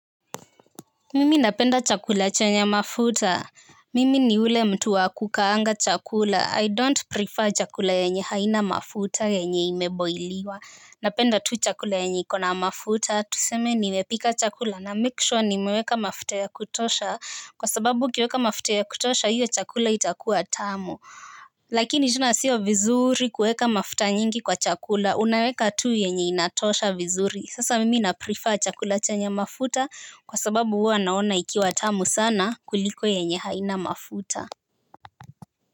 Mimi napenda chakula chenye mafuta. Mimi ni ule mtu wa kukaanga chakula. 'I don't prefer' chakula yenye haina mafuta yenye imeboiliwa. Napenda tu chakula yenye iko na mafuta tuseme nimepika chakula, na 'make sure' nimeweka mafuta ya kutosha. Kwa sababu ukiweka mafuta ya kutosha hiyo chakula itakuwa tamu. Lakini tena sio vizuri kuweka mafuta nyingi kwa chakula. Unaweka tu yenye inatosha vizuri. Sasa mimi na 'prefer' chakula chenye mafuta kwa sababu huwa naona ikiwa tamu sana kuliko yenye haina mafuta.